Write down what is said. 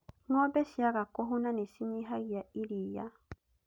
Ng'ombe ciaga kũhũna nĩ cinyihagia iria